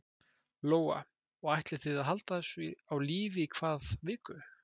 Lóa: Og ætlið þið að halda þessu á lífi í hvað viku?